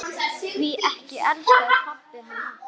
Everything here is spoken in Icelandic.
Því ekki elskaði pabbi hana.